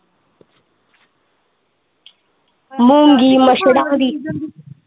ਮੁੰਗੀਮਸਰਾਂ ਦੀ।